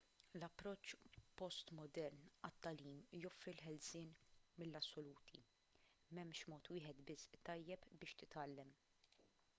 l-approċċ postmodern għat-tagħlim joffri l-ħelsien mill-assoluti m'hemmx mod wieħed biss tajjeb biex titgħallem